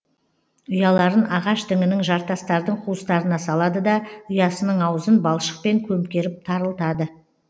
ұяларын ағаш діңінің жартастардың қуыстарына салады да ұясының аузын балшықпен көмкеріп тарылтады